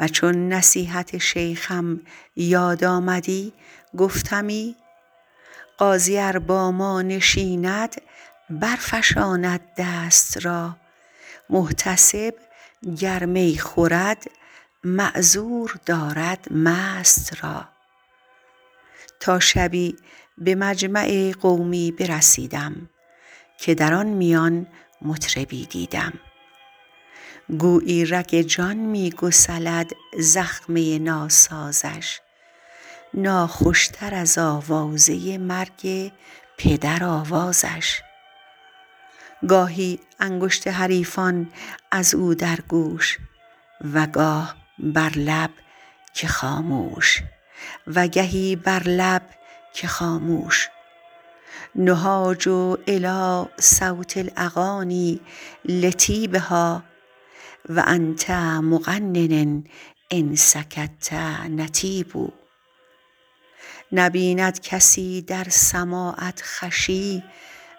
و چون نصیحت شیخم یاد آمدی گفتمی قاضی ار با ما نشیند برفشاند دست را محتسب گر می خورد معذور دارد مست را تا شبی به مجمع قومی برسیدم که در میان مطربی دیدم گویی رگ جان می گسلد زخمه ناسازش ناخوش تر از آوازه مرگ پدر آوازش گاهی انگشت حریفان از او در گوش و گهی بر لب که خاموش نهاج الیٰ صوت الاغانی لطیبها و انت مغن ان سکت نطیب نبیند کسی در سماعت خوشی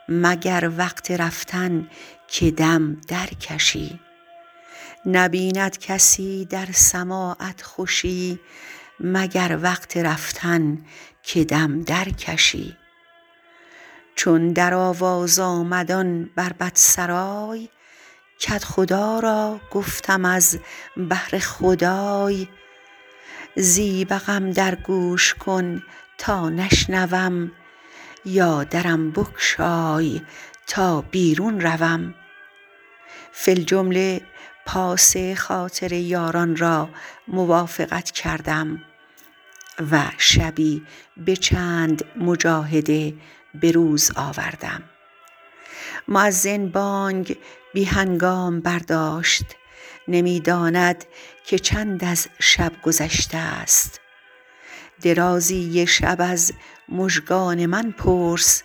مگر وقت رفتن که دم درکشی چون در آواز آمد آن بربط سرای کدخدا را گفتم از بهر خدای زیبقم در گوش کن تا نشنوم یا درم بگشای تا بیرون روم فی الجمله پاس خاطر یاران را موافقت کردم و شبی به چند مجاهده به روز آوردم مؤذن بانگ بی هنگام برداشت نمی داند که چند از شب گذشته است درازی شب از مژگان من پرس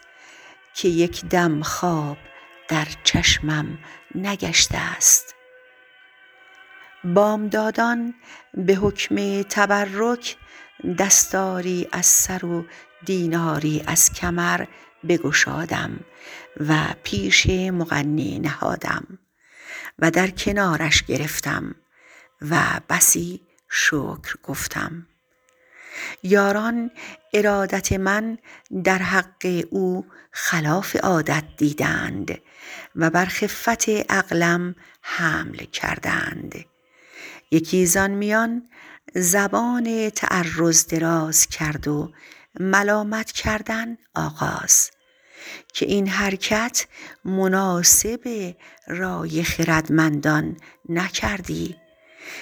که یک دم خواب در چشمم نگشته است بامدادان به حکم تبرک دستاری از سر و دیناری از کمر بگشادم و پیش مغنی نهادم و در کنارش گرفتم و بسی شکر گفتم یاران ارادت من در حق او خلاف عادت دیدند و بر خفت عقلم حمل کردند یکی زآن میان زبان تعرض دراز کرد و ملامت کردن آغاز که این حرکت مناسب رای خردمندان نکردی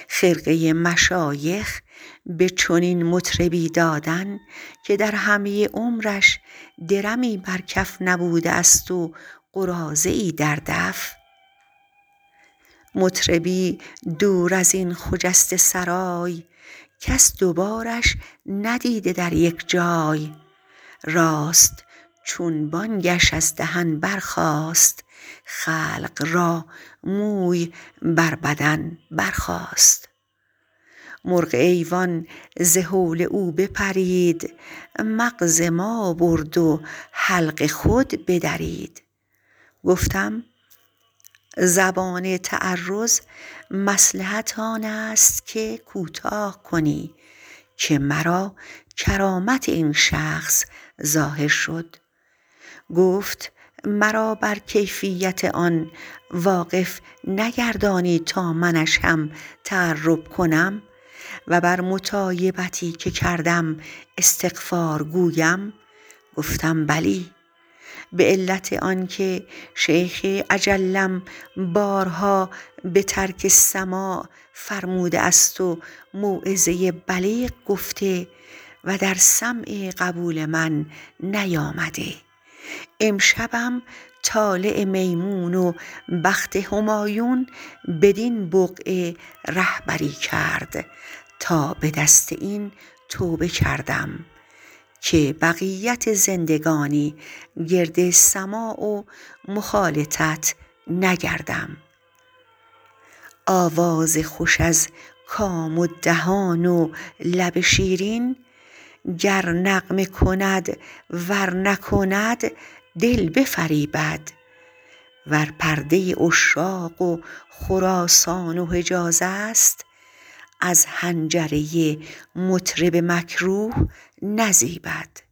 خرقه مشایخ به چنین مطربی دادن که در همه عمرش درمی بر کف نبوده است و قراضه ای در دف مطربی دور از این خجسته سرای کس دو بارش ندیده در یک جای راست چون بانگش از دهن برخاست خلق را موی بر بدن برخاست مرغ ایوان ز هول او بپرید مغز ما برد و حلق خود بدرید گفتم زبان تعرض مصلحت آن است که کوتاه کنی که مرا کرامت این شخص ظاهر شد گفت مرا بر کیفیت آن واقف نگردانی تا منش هم تقرب کنم و بر مطایبتی که کردم استغفار گویم گفتم بلی به علت آن که شیخ اجلم بارها به ترک سماع فرموده است و موعظه بلیغ گفته و در سمع قبول من نیامده امشبم طالع میمون و بخت همایون بدین بقعه رهبری کرد تا به دست این توبه کردم که بقیت زندگانی گرد سماع و مخالطت نگردم آواز خوش از کام و دهان و لب شیرین گر نغمه کند ور نکند دل بفریبد ور پرده عشاق و خراسان و حجاز است از حنجره مطرب مکروه نزیبد